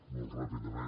molt ràpidament